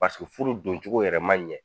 furu doncogo yɛrɛ ma ɲɛ